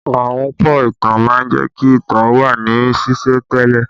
Ahunpọ̀ ìtàn má ń jẹ́ kí ìtàn ó wà ní sìsẹ̀ntele